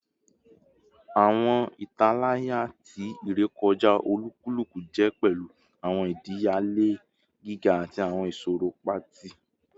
Awọn italaya ti irekọja olukuluku jẹ pẹlu awọn idiyele giga ati awọn iṣoro paati